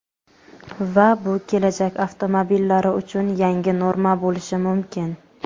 Va bu kelajak avtomobillari uchun yangi norma bo‘lishi mumkin.